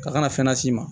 Ka kan ka fɛn las'i ma